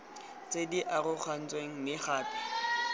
tse di arogantsweng mme gape